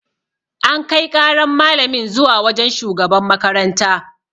An Kai ƙaran malamin zuwa wajan shugaban makaranta